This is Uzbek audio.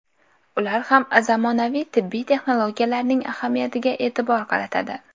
Ular ham zamonaviy tibbiy texnologiyalarning ahamiyatiga e’tibor qaratadi.